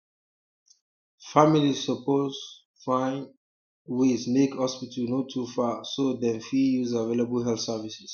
families suppose um find um ways make hospital no too far so dem fit use available health services